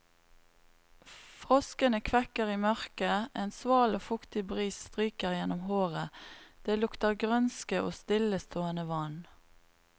Froskene kvekker i mørket, en sval, fuktig bris stryker gjennom håret, det lukter grønske og stillestående vann.